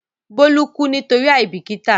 Bólú kú nítorí àìbìkítà.